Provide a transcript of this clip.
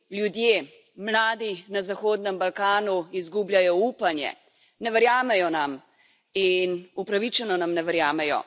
Ljudje, mladi na Zahodnem Balkanu izgubljajo upanje, ne verjamejo nam in upravičeno nam ne verjamejo.